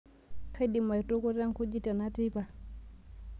kaidim aitukuta nkujit tena teipa